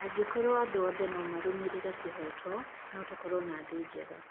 Angĩkorwo andũ othe no marũĩrĩre kĩhooto, no tũkorwo na thĩ njega.